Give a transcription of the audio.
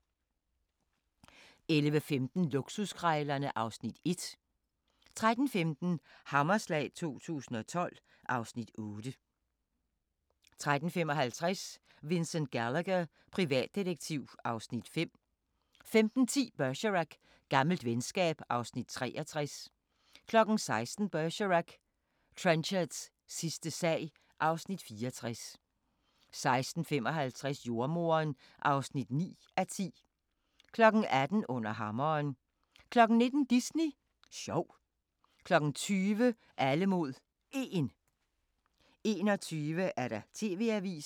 11:15: Luksuskrejlerne (Afs. 1) 13:15: Hammerslag 2012 (Afs. 8) 13:55: Vincent Gallagher, privatdetektiv (Afs. 5) 15:10: Bergerac: Gammelt venskab (Afs. 63) 16:00: Bergerac: Trenchards sidste sag (Afs. 64) 16:55: Jordemoderen (9:10) 18:00: Under hammeren 19:00: Disney sjov 20:00: Alle mod 1 21:00: TV-avisen